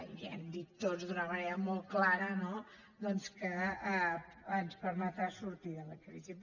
ja hem dit tots d’una manera molt clara no doncs que ens permetrà sortir de la crisi